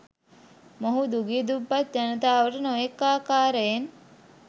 මොහු දුගී දුප්පත් ජනතාවට නොයෙක් ආකාරයෙන්